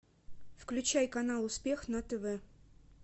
включай канал успех на тв